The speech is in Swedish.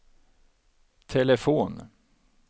telefon